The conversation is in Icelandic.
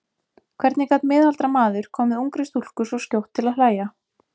Hvernig gat miðaldra maður komið ungri stúlku svo skjótt til að hlæja?